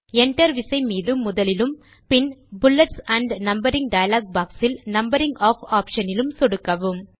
Enterவிசை மீது முதலிலும் பின் புல்லெட்ஸ் ஆண்ட் நம்பரிங் டயலாக் boxஇல் நம்பரிங் ஆஃப் ஆப்ஷன் இலும் சொடுக்கவும்